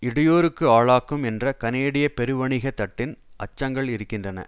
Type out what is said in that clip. இடையூறுக்கு ஆளாக்கும் என்ற கனேடிய பெருவணிக தட்டின் அச்சங்கள் இருக்கின்றன